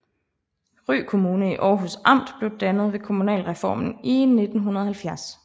Ry Kommune i Århus Amt blev dannet ved kommunalreformen i 1970